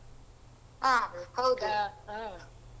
ಹ ಹೌದು .